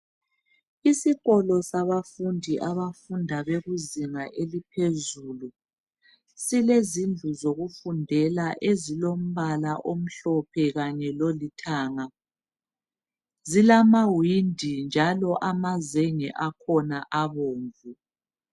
Isikolo sabafundi abafunda bekuzinga eliphezulu silezindlu zokufundela ezilombala omhlophe kanye lolithanga zilamawindi njalo amazenge akhona abomvu